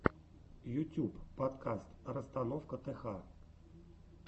ютюб подкаст расстановка тх